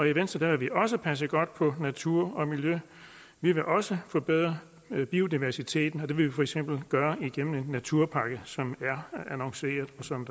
i venstre vil vi også passe godt på natur og miljø vi vil også forbedre biodiversiteten og det vil vi for eksempel gøre gennem en naturpakke som er annonceret og som